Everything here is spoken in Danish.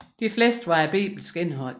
De fleste var af bibelsk indhold